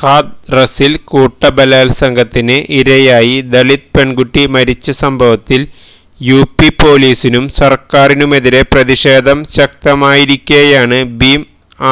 ഹാഥ്റസില് കൂട്ടബലാത്സംഗത്തിന് ഇരായി ദളിത് പെണ്കുട്ടി മരിച്ച സംഭവത്തില് യുപി പോലീസിനും സര്ക്കാരിനുമെതിരേ പ്രതിഷേധം ശക്തമായിരിക്കെയാണ് ഭീം